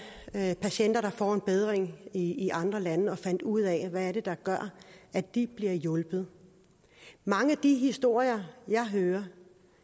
patienter der får en bedring i andre lande og fandt ud af hvad det er der gør at de bliver hjulpet mange af de historier jeg hører